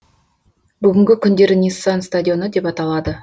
бүгінгі күндері ниссан стадионы деп аталады